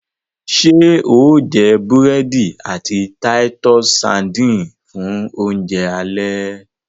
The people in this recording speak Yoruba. ṣe o jé burẹdi àti Titus sardines fun Oúnjẹ alẹ́?